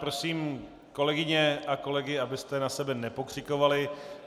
Prosím kolegyně a kolegy, abyste na sebe nepokřikovali.